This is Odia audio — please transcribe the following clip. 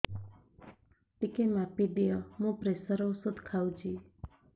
ଟିକେ ମାପିଦିଅ ମୁଁ ପ୍ରେସର ଔଷଧ ଖାଉଚି